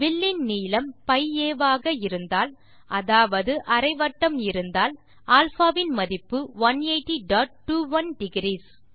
வில்லின் நீளம் π a ஆக இருந்தால் அதாவது அரை வட்டம் இருந்தால் α இன் மதிப்பு 18021 டிக்ரீஸ்